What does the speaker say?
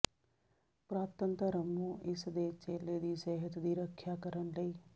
ਪੁਰਾਤਨ ਧਰਮ ਨੂੰ ਇਸ ਦੇ ਚੇਲੇ ਦੀ ਸਿਹਤ ਦੀ ਰੱਖਿਆ ਕਰਨ ਲਈ